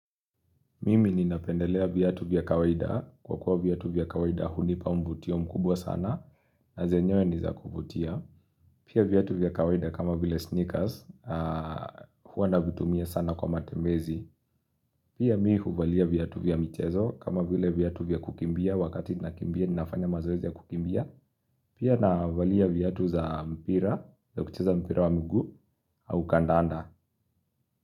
Mimi ninapendelea viatu vya kawaida kwa kuwa viatu vya kawaida hunipa mvutio mkubwa sana na zenyewe niza kuvutia. Pia viatu vya kawaida kama vile sneakers huwana navitumia sana kwa matembezi. Pia mimi huvalia viatu vya mchezo kama vile viatu vya kukimbia wakati nakimbia ninafanya mazoezia ya kukimbia. Pia navalia viatu za mpira za kucheza mpira wa mguu au kandanda.